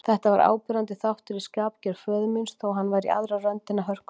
Þetta var áberandi þáttur í skapgerð föður míns, þó hann væri í aðra röndina hörkutól.